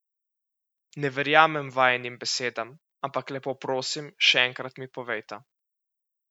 Ne verjamem vajinim besedam, ampak lepo prosim, še enkrat mi povejta.